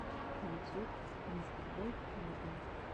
ютюб мистер болд морган